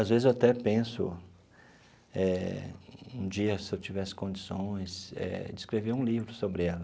Às vezes eu até penso eh, um dia, se eu tivesse condições, de escrever um livro sobre ela.